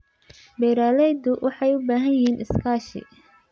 Beeralayda waxay u baahan yihiin iskaashi.